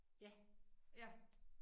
Ja ja